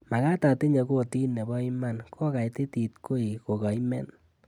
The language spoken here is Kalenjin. Magaat atinye kotit nebo iman kogaitit koi kogaimen